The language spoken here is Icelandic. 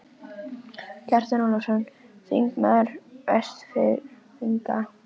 Kjartan Ólafsson, þingmaður Vestfirðinga, sté næstur í ræðustól.